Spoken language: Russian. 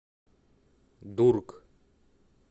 дург